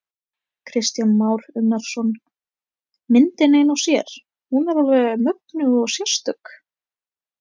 Kristján Már Unnarsson: Myndin ein og sér, hún er alveg mögnuð og sérstök?